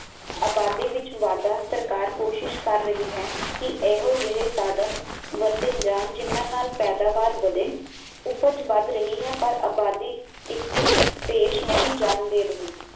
ਅਬਾਦੀ ਵਿੱਚ ਵਾਧਾ ਸਰਕਾਰ ਕੋਸ਼ਿਸ਼ ਕਰ ਰਹੀ ਹੈ ਕਿ ਇਹੋ ਜਹੇ ਸਾਧਨ ਵਰਤੇ ਜਾਨ ਜਿਨ੍ਹਾਂ ਨਾਲ ਪੈਦਾਵਾਰ ਵਧੇ ਉਪਜ ਵੱਧ ਰਹੀ ਹੈ ਪਰ ਅਬਾਦੀ ਇਸ ਦੀ ਪੇਸ਼ ਨਹੀਂ ਜਾਨ ਦੇ ਰਹੀ